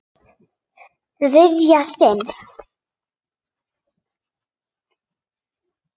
Þriðja sinn.